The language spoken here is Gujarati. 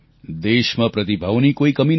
દેશમાં પ્રતિભાઓની કોઈ કમી નથી